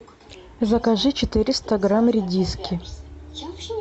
закажи четыреста грамм редиски